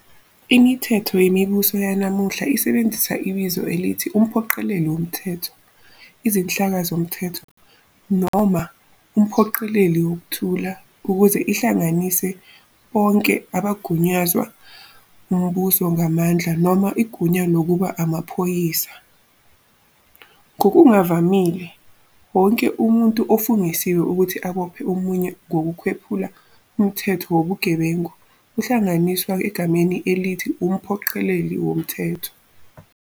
Imithetho yemibuso yanamuhla isebenzisa ibizo elithi umphoqeleli womthetho, "izinhlaka zomthetho", noma umphoqeleli wokuthula ukuze ihlanganise bonke abagunyazwa umbuso ngamandla noma igunya lokuba amaphoyisa, ngokuvamile, wonke umuntu ofungisiwe ukuthi abophe omunye ngokwephula umthetho wobugebengu uyahlanganiswa egameni elithi umphoqeleli womthetho.